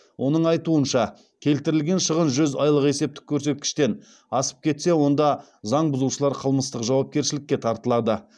оның айтуынша келтірілген шығын жүз айлық есептік көрсеткіштен асып кетсе онда заң бұзушылар қылмыстық жауапкершілікке тартылады